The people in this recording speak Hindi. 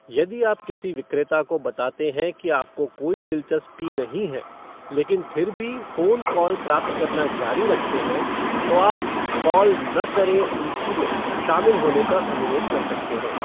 यदि आप किसी विक्रेता को बताते हैं कि आपको कोई दिलचस्पी नहीं है, लेकिन फिर भी फ़ोन कॉल प्राप्त करना जारी रखते हैं, तो आप 'कॉल न करें सूची' में शामिल होने का अनुरोध कर सकते हैं।